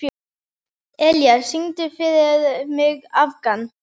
Elía, syngdu fyrir mig „Afgan“.